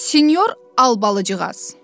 Sinyor Albalıcığaz!